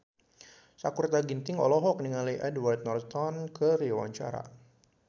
Sakutra Ginting olohok ningali Edward Norton keur diwawancara